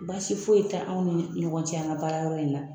Baasi foyi ye tɛ anw ni ɲɔgɔn cɛ an ka baarayɔrɔ in na